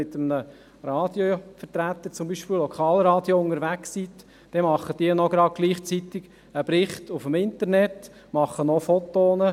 Wenn sie zum Beispiel mit einem Lokalradio unterwegs sind, macht dieses gleichzeitig einen Bericht im Internet und Fotos.